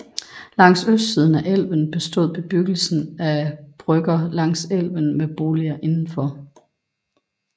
Langs østsiden af elven bestod bebyggelsen af brygger langs elven med boliger indenfor